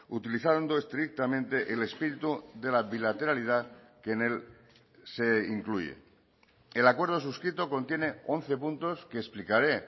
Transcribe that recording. utilizando estrictamente el espíritu de la bilateralidad que en él se incluye el acuerdo suscrito contiene once puntos que explicaré